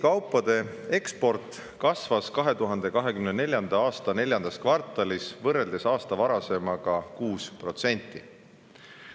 Kaupade eksport Eestis kasvas 2024. aasta neljandas kvartalis võrreldes aasta varasemaga 6%.